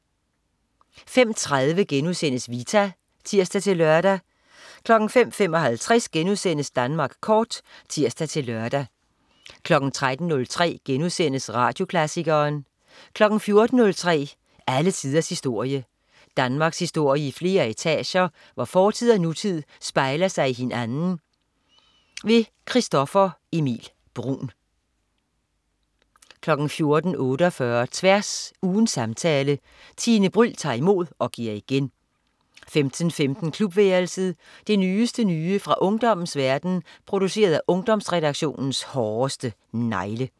05.30 Vita* (tirs-lør) 05.55 Danmark Kort* (tirs-lør) 13.03 Radioklassikeren* 14.03 Alle tiders historie. Danmarkshistorie i flere etager, hvor fortid og nutid spejler sig i hinanden. Christoffer Emil Bruun* 14.48 Tværs. Ugens samtale. Tine Bryld tager imod og giver igen 15.15 Klubværelset. Det nyeste nye fra ungdommens verden, produceret af Ungdomsredaktionens hårdeste negle